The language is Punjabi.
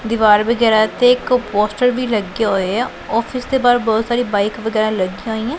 ਦਿਵਾਰ ਵਗੈਰਾ ਤੇ ਇੱਕ ਪੋਸਟਰ ਵੀ ਲੱਗਿਆ ਹੋਏ ਆ ਔਫਿਸ ਦੇ ਬਾਹਰ ਬੋਹੁਤ ਸਾਰੀਆਂ ਬਾਇਕ ਵਗੈਰਾ ਲੱਗੀਆਂ ਹੋਈ ਆਂ।